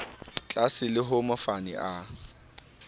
tlaase le ha mofani a